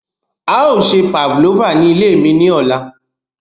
A yoo se Pavlova ni ile mi ni ọla.